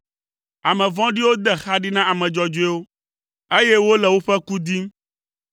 Ame vɔ̃ɖiwo de xa ɖi na ame dzɔdzɔewo, eye wole woƒe ku dim;